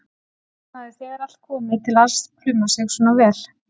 Fyrst hann hafði þegar allt kom til alls plumað sig svona vel.